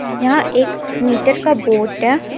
यह एक मीटर का बोट है. यहां--